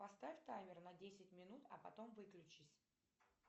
поставь таймер на десять минут а потом выключись